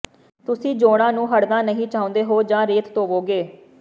ਤੁਸੀਂ ਜੋੜਾਂ ਨੂੰ ਹੜ੍ਹਨਾ ਨਹੀਂ ਚਾਹੁੰਦੇ ਹੋ ਜਾਂ ਰੇਤ ਧੋਵੋਗੇ